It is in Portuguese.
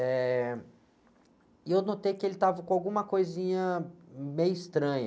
Eh, e eu notei que ele estava com alguma coisinha meio estranha.